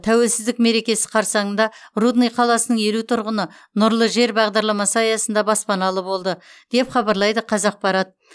тәуелсіздік мерекесі қарсаңында рудный қаласының елу тұрғыны нұрлы жер бағдарламасы аясында баспаналы болды деп хабарлайды қазақпарат